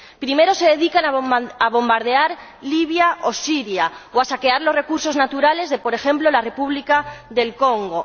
Primero se dedican a bombardear Libia o Siria, o a saquear los recursos naturales de, por ejemplo, la República del Congo.